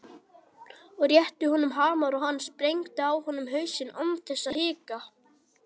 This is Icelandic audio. Ég rétti honum hamar og hann sprengdi á honum hausinn án þess að hika.